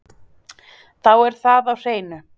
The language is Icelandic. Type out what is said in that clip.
Þá er það á hreinu